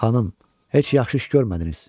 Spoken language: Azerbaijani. Xanım, heç yaxşı iş görmədiniz.